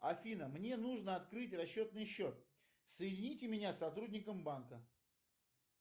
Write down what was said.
афина мне нужно открыть расчетный счет соедините меня с сотрудником банка